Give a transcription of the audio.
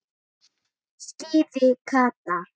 sagði Kata.